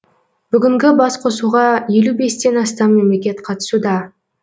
бүгінгі басқосуға елу бестен астам мемлекет қатысуда